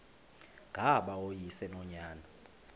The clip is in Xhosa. ngaba uyise nonyana